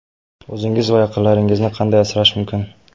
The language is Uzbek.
O‘zingiz va yaqinlaringizni qanday asrash mumkin?